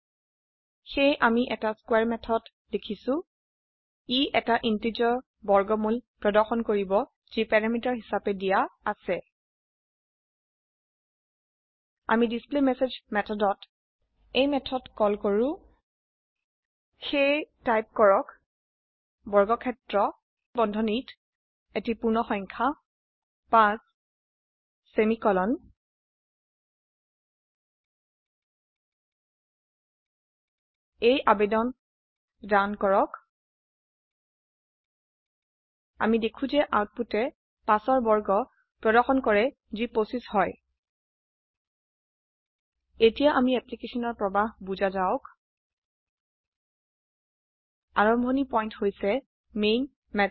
সেয়ে আমি এটি স্কোৱাৰে মেথড লিখছো ই এটা integerৰ বৰ্গমুল প্ৰদৰ্শন কৰিব যি প্যাৰামিটাৰ হিসাবে দিয়া আছে আমি ডিছপ্লেমেছেজ মেথদত এই মেথড কল কল কৰো সেয়ে টাইপ কৰক বৰ্গক্ষেত্ৰ বন্ধনীত এটি পূৰ্ণসংখ্যা 5 সেমিকোলন এই আবেদন ৰান কৰক আমি দেখো যে আউটপুটে 5 ৰ বৰ্গ প্ৰদৰ্শন কৰে যি 25 হয় এতিয়া আমি applicationৰ প্ৰবাহ বুজা যাওক আৰাম্ভনি পইন্ট হৈছে মেইন মেথড